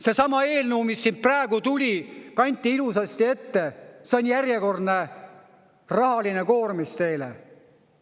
Seesama eelnõu, mis siit praegu tuli, kanti ilusasti ette, see on järjekordne rahaline koormis teile.